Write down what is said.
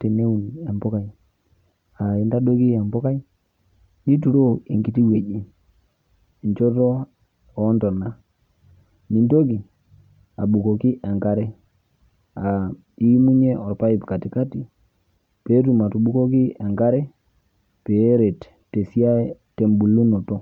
teneun empokai, aah intadoiki empokai nituroo enkiti wueji enchoto oontona nintoki, abukoki enkare [aa] iimunye orpaip katikati peetum atubukoki enkare peeret tesiai, tembulunoto.